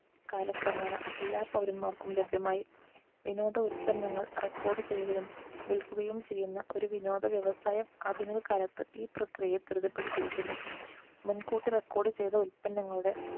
കാലക്രമേണ എല്ലാ പൗരന്മാർക്കും ലഭ്യമായി വിനോദ ഉൽപ്പന്നങ്ങൾ record ചെയ്യുകയും വിൽക്കുകയും ചെയ്യുന്ന ഒരു വിനോദ വ്യവസായം ആധുനിക കാലത്ത് ഈ പ്രക്രിയയെ ത്വരിതപ്പെടുത്തിയിരിക്കുന്നു മുൻകൂട്ടി record ചെയ്ത ഉൽപ്പന്നങ്ങളുടെ